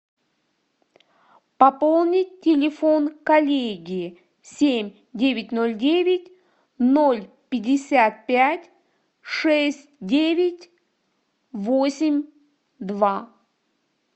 пополнить телефон коллеги семь девять ноль девять ноль пятьдесят пять шесть девять восемь два